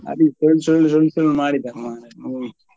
ಮಾಡಿದ್ದಾರೆ ಮಾರ್ರೆ movie .